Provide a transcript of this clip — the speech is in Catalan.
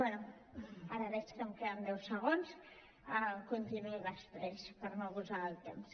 bé ara veig que em queden deu segons continuo després per no abusar del temps